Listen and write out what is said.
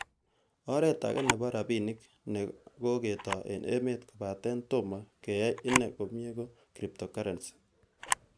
Oret age nebo rabinik neko ketoi en emet kobaten tomo kiyan ine komie ko Cryptocurrency.